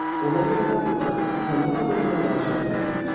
Ona görə də onlar tanrı adından danışa bilərlər.